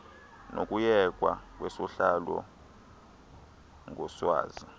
nokuyekwa kwesohlwayo ngoswazi